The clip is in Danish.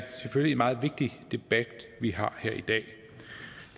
meget vigtig debat vi har her i dag